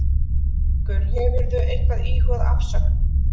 Haukur: Hefurðu eitthvað íhugað afsögn?